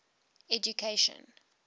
education